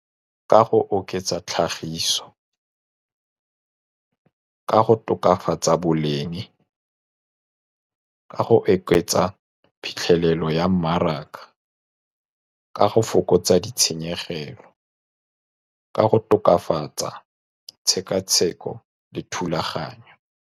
Ka go oketsa tlhagiso, ka go tokafatsa boleng, ka go oketsa phitlhelelo ya mmaraka ka go fokotsa ditshenyegelo, ka go tokafatsa tshekatsheko le thulaganyo.